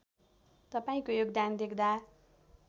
तपाईँको योगदान देख्दा